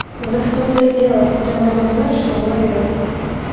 ну так в том-то и дело откуда я могу знать что выы